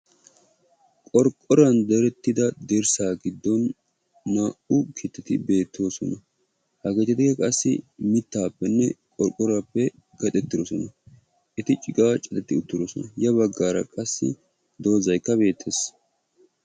Qorqqoruwan direttida dirssaa giddon naa''u keettati beettoosona. Ha keettatikka qassi mittaappenne qorqqoruwappe keexettidosona. Eti ciqaa cadetti uttidoson. Ya baggaara qassi dozaykka beettees.